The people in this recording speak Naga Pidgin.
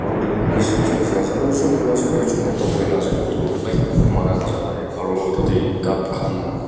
aru itutu rest house nishina ase aru zoom kurina sailey ejun mota boina ase utu light mara la jaka tey tatey cup khan--